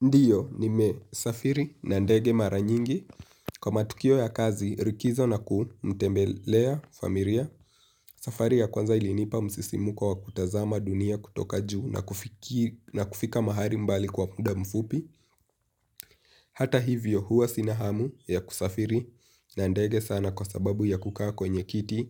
Ndiyo, nimesafiri na ndege mara nyingi. Kwa matukio ya kazi, rikizo na kuu, mtembelea, familia, safari ya kwanza ilinipa msisimuko wa kutazama dunia kutoka juu na kufika mahali mbali kwa muda mfupi. Hata hivyo, huwa sina hamu ya kusafiri na ndege sana kwa sababu ya kukaa kwenye kiti